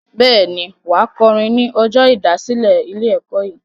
Bẹ́ẹ̀ ni, wà á kọrin ní ọjọ́ ìdásílẹ̀ ilé-ẹ̀kọ́ yìí.